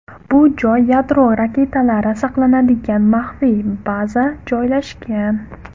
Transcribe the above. Bu joy yadro raketalari saqlanadigan maxfiy baza joylashgan.